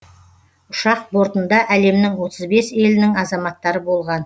ұшақ бортында әлемнің отыз бес елінің азаматтары болған